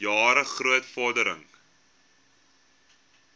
jare groot vordering